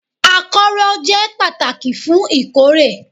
Akọ́rọ́ jẹ́ pàtàkì fún ìkórè